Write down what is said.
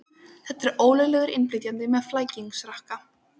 Þetta er ólöglegur innflytjandi með flækingsrakka.